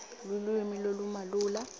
lulwimi lolumalula